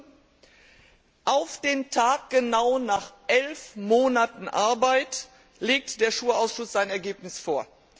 Nun auf den Tag genau nach elf Monaten Arbeit legt der SURE Ausschuss sein Ergebnis vor.